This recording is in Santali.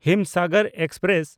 ᱦᱤᱢᱥᱟᱜᱚᱨ ᱮᱠᱥᱯᱨᱮᱥ